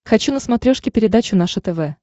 хочу на смотрешке передачу наше тв